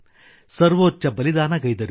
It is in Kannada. ಸರ್ವೋಚ್ಚ ಬಲಿದಾನಗೈದರು